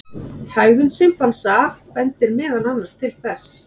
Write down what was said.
Hegðun simpansa bendir meðal annars til þess.